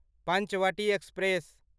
Panchavati express